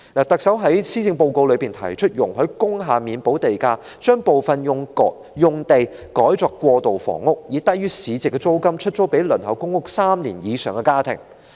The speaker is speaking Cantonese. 特首在施政報告中提出容許工廈免補地價，把部分用地改作過渡性房屋，以低於市值租金出租予輪候公屋3年以上的家庭。